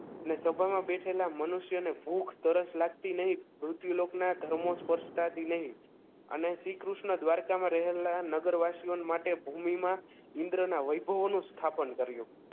અને સભામાં બેઠેલા મનુષ્યને ભૂખ તરસ લાગતી નહીં મૃત્યુલોકના ધર્મો સ્પર્શતાથી નહીં અને શ્રીકૃષ્ણ દ્વારકામાં રહેલા નગરવાસીઓ માટે ભૂમિમાં ઇન્દ્રના વૈભવોનું સ્થાપન કર્યું